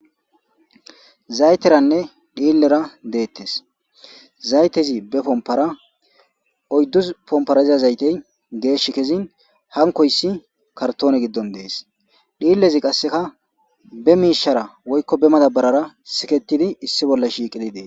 Zaytteranne dhiillera de7etes zaytezi be pomppara oyydu pomppara diza zaytey geeshshi kezin hankkoyssi kartoone giddon dees dhiillezi kasseka be miishara woyko be madaabarara siketidi dees.